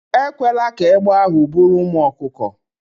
Ekwela ka egbe ahụ buru ụmụ ọkụkọ